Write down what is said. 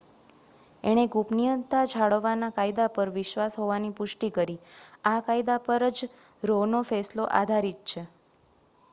એણે ગુપનીયતા જાળવવા ના કાયદા પર વિશ્વાસ હોવાની પુષ્ટિ કરી આ કાયદા પરજ રો નો ફેંસલો આધારિત છે